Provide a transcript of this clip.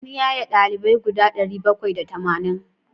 An yaye ɗalibai guda ɗari bakwai da tamanin.